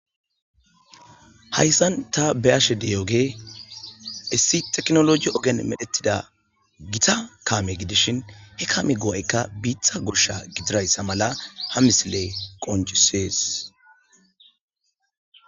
Hayssan ta be'ashe de'iyogey issi tekinoloje ogen medhetida gita kaame gidishin,he kaame ga'ayka iita goshsha gidishin ha misiley qoncisees.